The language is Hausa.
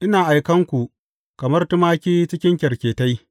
Ina aikan ku kamar tumaki cikin kyarketai.